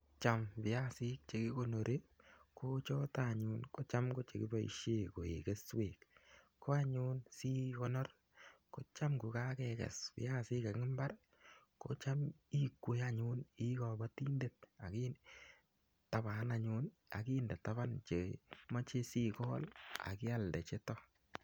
Cham viasik chekikonori, kochotok anyun ko checham keboishe koek keswek. Ko anyun si konor ko cham kokakekes viasik eng mbar, kocham ikwee anyun ii kabotindet akitaban anyun akinde taban che imache sikol akialde chetok.